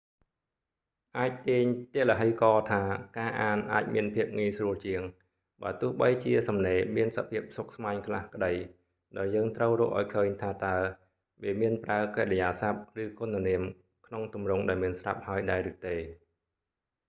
អាចទាញទឡ្ហីករណ៍ថាការអានអាចមានភាពងាយស្រួលជាង បើទោះបីជាសំណេរមានសភាពស្មុគស្មាញខ្លះក្តី ដោយយើងត្រូវរកឱ្យឃើញថាតើ វាមានប្រើកិរិយាសព្ទ ឬគុណនាមក្នុងទម្រង់ដែលមានស្រាប់ហើយដែរឬទេ